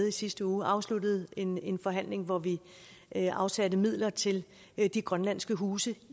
i sidste uge afsluttede en en forhandling hvor vi vi afsatte midler til de grønlandske huse